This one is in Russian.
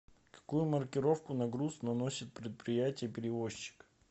какую маркировку на груз наносит предприятие перевозчик